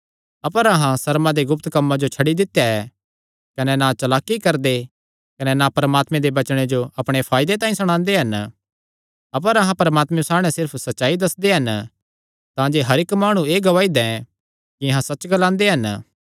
अपर अहां सर्मा दे गुप्त कम्मां जो छड्डी दित्या ऐ कने ना चलाकी करदे कने ना परमात्मे दे वचने जो अपणे फायदे तांई सणांदे हन अपर अहां परमात्मे सामणै सिर्फ सच्चाई दस्सदे हन तांजे हर इक्क माणु एह़ गवाही दैं कि अहां सच्च ग्लांदे हन